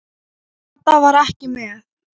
Kata var ekki með.